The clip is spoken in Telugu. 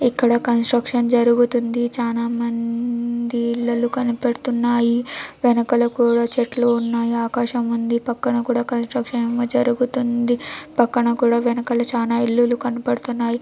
ఇక్కడ కన్స్ట్రక్షన్ జరుగుతుంది. చానా మం ది ఇల్లులు కనపడుతున్నాయి. వెనకాల కూడా చెట్లు ఉన్నాయి. ఆకాశం ఉంది. పక్కన కూడ కన్స్ట్రక్షన్ ఎమ్ జరుగుతుంది పక్కన కూడ వెనకాల చాల ఇల్లులు కన్పడుతున్నాయ్.